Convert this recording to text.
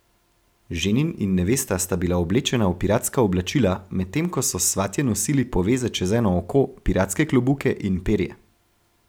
Ženin in nevesta sta bila oblečena v piratska oblačila, medtem ko so svatje nosili poveze čez eno oko, piratske klobuke in perje.